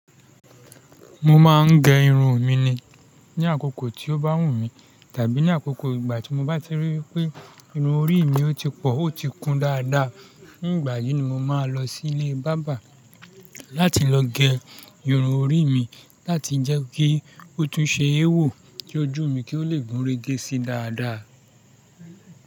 Mo máa ń gẹ irun mi ni, ní àkókò tí ó bá wù mí tàbí ní àkókò ìgbà tí mo ba ti ríi wipé irun orí mi ò tí pọ̀, ó ti kún dáadáa. Ní ìgbà yìí ni mo máa lọ sí ilé bábà láti lọ gẹ irun orí mi láti jẹ́ kí ó tún ṣe éwò ki ojù mí kí ó le gúnrégé sí dáadáa.